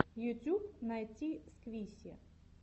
ютьюб найти сквиси